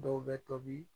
Dɔw bɛ tobi